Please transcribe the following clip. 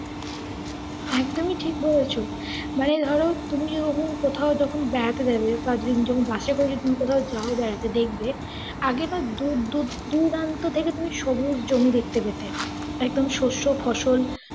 একদমই ঠিক বলেছ। মানে ধরো তুমি যখন কোথাও যখন বেরাতে যাবে বা তুমি যখন বাসে করে যদি তুমি কোথাও যাও বেরাতে দেখবে আগে না দূর দূ~ দুরান্ত থেকে তুমি সবুজ জমি দেখতে পেতে একদম শস্য, ফসল